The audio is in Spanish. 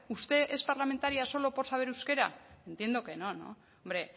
usted es parlamentaria solo por saber euskera entiendo que no hombre